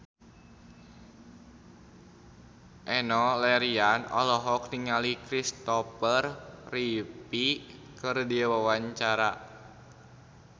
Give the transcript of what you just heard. Enno Lerian olohok ningali Kristopher Reeve keur diwawancara